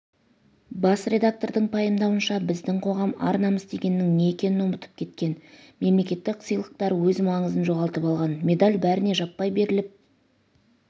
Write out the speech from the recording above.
бас редактордың пайымдауынша біздің қоғам ар-намыс дегеннің не екенін ұмытып кеткен мемлекеттік сыйлықтар өз маңызын жоғалтып алған медель бәріне жаппай беріліп